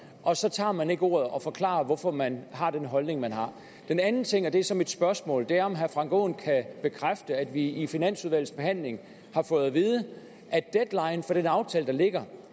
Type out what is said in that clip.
og så tager man ikke ordet og forklarer hvorfor man har den holdning man har den anden ting og det er så mit spørgsmål er om herre frank aaen kan bekræfte at vi under finansudvalgets behandling har fået at vide at deadline for den aftale der ligger